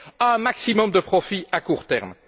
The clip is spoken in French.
un maximum de profit à court terme.